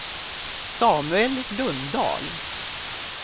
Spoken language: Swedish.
Samuel Lundahl